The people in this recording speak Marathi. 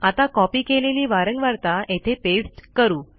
आता कॉपी केलेली वारंवारता येथे पेस्ट करू